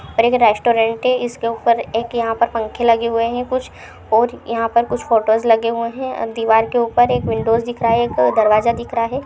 और एक रेस्ट्रोन्ट है इसके ऊपर एक यहाँ पे पंखे लगे हुए है कुछ और यहाँ पर फोटोस लगे हुए है दीवार के ऊपर एक विंडोज दिख रहा है दरवाज़ा दिख रहा है।